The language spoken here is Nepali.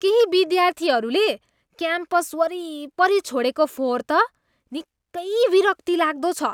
केही विद्यार्थीहरूले क्याम्पस वरिपरि छोडेको फोहोर त निकै विरक्तिलाग्दो छ।